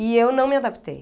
E eu não me adaptei.